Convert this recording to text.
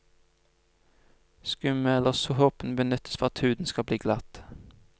Skummet eller såpen benyttes for at huden skal bli glatt.